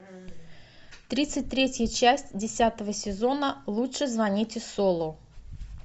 тридцать третья часть десятого сезона лучше звоните солу